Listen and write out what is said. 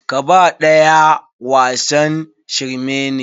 Kaba ɗaya wasan shirme ne.